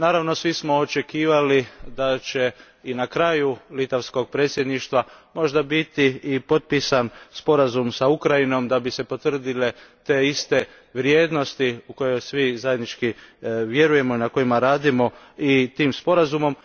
Naravno, svi smo očekivali da će i na kraju litavskog predsjedništva možda biti i potpisan sporazum s Ukrajinom da bi se potvrdile te iste vrijednosti u koje svi zajednički vjerujemo i na kojima radimo i tim sporazumom.